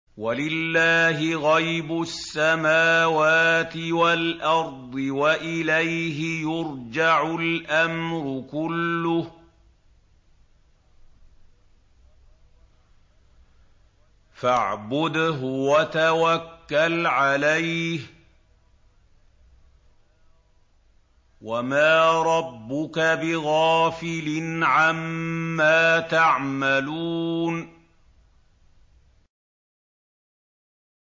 وَلِلَّهِ غَيْبُ السَّمَاوَاتِ وَالْأَرْضِ وَإِلَيْهِ يُرْجَعُ الْأَمْرُ كُلُّهُ فَاعْبُدْهُ وَتَوَكَّلْ عَلَيْهِ ۚ وَمَا رَبُّكَ بِغَافِلٍ عَمَّا تَعْمَلُونَ